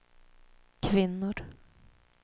kvinnor